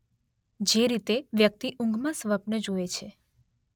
જે રીતે વ્યક્તિ ઊંઘમાં સ્વપ્ન જુએ છે